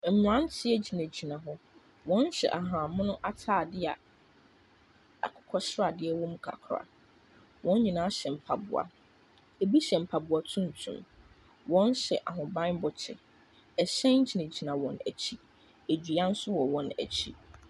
Mmranteɛ gyinagyina hɔ. Wɔhyɛ ahabanmono ataadeɛ a akokɔsradeɛ wɔ mu kakra. Wɔn nyinaaa hyɛ mpaboa. Ebi hyɛ mpaboa tuntum. Ebi hyɛ ahobanmmɔ kyɛ. Ɛhyɛn gyinagyina wɔn akyi. Edua nso wɔ wɔn akyi.